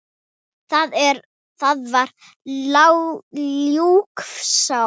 Það var ljúfsár stund.